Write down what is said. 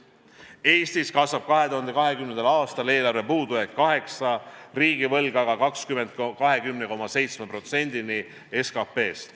Eestis kasvab 2020. aastal eelarve puudujääk 8%, riigivõlg aga 20,7%-ni SKP-st.